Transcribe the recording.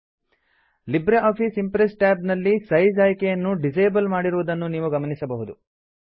Libre office Impress tab ನಲ್ಲಿ size ಆಯ್ಕೆಯನ್ನು disable ಮಾಡಿರುವುದನ್ನು ನೀವು ಗಮನಿಸಬಹುದು